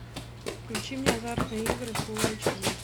включи мне азартные игры фулл айч ди